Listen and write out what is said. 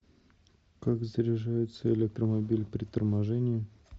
как заряжается электромобиль при торможении